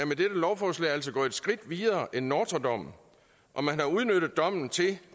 med dette lovforslag gået et skridt videre end nortra dommen og man har udnyttet dommen til